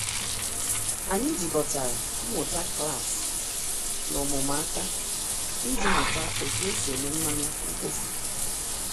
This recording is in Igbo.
Anyị jikọtara mmụta klasị na ọmụmụ aka iji mụta otu esi eme mmanụ mkpofu.